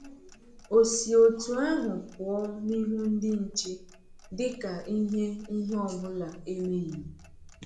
O si otú ahụ pụọ n’ihu ndị nche dị ka ihe ihe ọ bụla emeghị?